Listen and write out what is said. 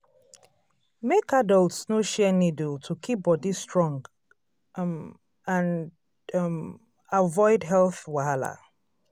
make adults no share needle to keep body strong um and um avoid health wahala.